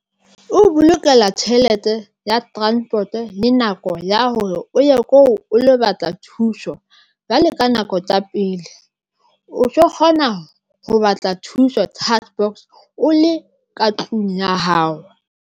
O bolokela tjhelete ya transport le nako ya hore o ye ko o lo batla thuso, jwale ka nako tsa pele o ntso kgona ho batla thuso o le ka tlung ya hao.